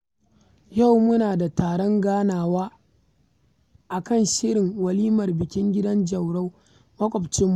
Yau muna da taron ganawa a kan shirin walimar bikin gidan Jauro maƙwabcinmu